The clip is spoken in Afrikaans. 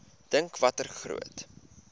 dink watter groot